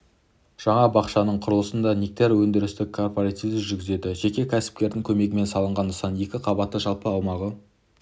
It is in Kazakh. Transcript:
жаңа бақшаның құрылысын нектар өндірістік кооперативі жүргізді жеке ксіпкердің көмегімен салынған нысан екі қабатты жалпы аумағы